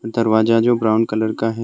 दरवाजा जो brown colour का है।